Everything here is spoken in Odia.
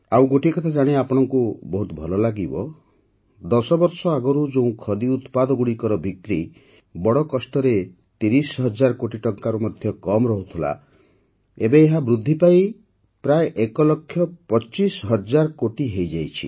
ଆଉ ଗୋଟିଏ କଥା ଜାଣି ଆପଣଙ୍କୁ ବହୁତ ଭଲ ଲାଗିବ ଦଶବର୍ଷ ଆଗରୁ ଯେଉଁ ଖଦି ଉତ୍ପାଦଗୁଡ଼ିକର ବିକ୍ରି ବଡ଼ କଷ୍ଟରେ ୩୦ ହଜାର କୋଟି ଟଙ୍କାରୁୁ ମଧ୍ୟ କମ ରହୁଥିଲା ଏବେ ଏହା ବୃଦ୍ଧି ପାଇ ପ୍ରାୟ ୧ ଲକ୍ଷ ୨୫ ହଜାର କୋଟି ହୋଇଯାଇଛି